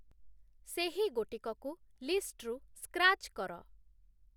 ସେହି ଗୋଟିକକୁ ଲିଷ୍ଟ୍‌ରୁ ସ୍କ୍ରାଚ୍ କର